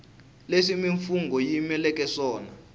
leswi mimfungho yi yimeleke swona